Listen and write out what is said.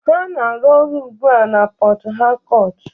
Ha na-arụ ọrụ ugbu a na Port Harcourt